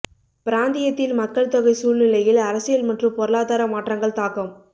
பிராந்தியத்தில் மக்கள் தொகை சூழ்நிலையில் அரசியல் மற்றும் பொருளாதார மாற்றங்கள் தாக்கம்